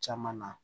Caman na